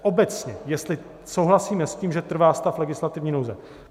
Obecně jestli souhlasíme s tím, že trvá stav legislativní nouze.